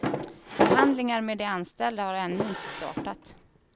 Förhandlingar med de anställda har ännu inte startat.